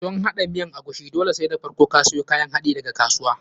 Don haɗa miyan agushi, dole sai da farko ka siyo kayan haɗinka daga kasuwa.